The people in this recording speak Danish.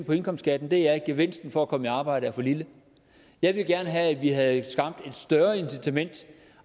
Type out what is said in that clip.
for indkomstskatten er at gevinsten for at komme i arbejde er for lille jeg ville gerne have at vi havde skabt et større incitament